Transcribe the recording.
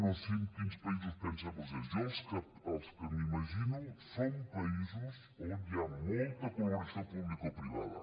no sé en quins països pensen vostès jo els que m’imagino són països on hi ha molta col·laboració publicoprivada